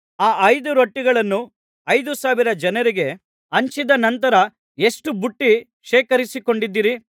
ಆ ಐದು ರೊಟ್ಟಿಗಳನ್ನು ಐದು ಸಾವಿರ ಜನರಿಗೆ ಹಂಚಿದ ನಂತರ ಎಷ್ಟು ಪುಟ್ಟಿ ಶೇಖರಿಸಿಕೊಂಡಿದ್ದಿರಿ